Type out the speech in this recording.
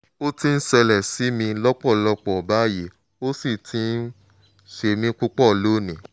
ó ti ń ṣẹlẹ̀ sí mi lọ́pọ̀lọpọ̀ báyìí ó sì ti ń ṣe mí púpọ̀ lónìí